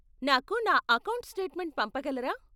నాకు నా account statement పంపగలరా?